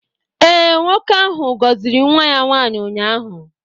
Ee, nwoke ahụ gọziri nwa ya nwaanyị ụnyaahụ.